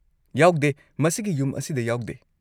ꯌꯥꯎꯗꯦ, ꯃꯁꯤꯒꯤ ꯌꯨꯝ ꯑꯁꯤꯗ ꯌꯥꯎꯗꯦ꯫